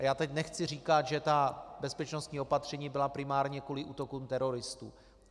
A já teď nechci říkat, že ta bezpečnostní opatření byla primárně kvůli útokům teroristů.